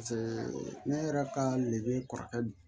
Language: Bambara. ne yɛrɛ ka kɔrɔkɛ